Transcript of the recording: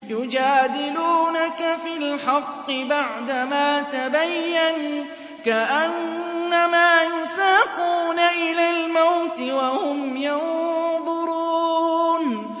يُجَادِلُونَكَ فِي الْحَقِّ بَعْدَمَا تَبَيَّنَ كَأَنَّمَا يُسَاقُونَ إِلَى الْمَوْتِ وَهُمْ يَنظُرُونَ